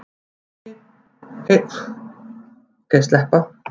Kynlíf, heilbrigði, ást og erótík.